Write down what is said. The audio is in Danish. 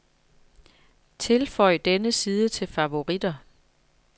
Tilføj denne side til favoritter.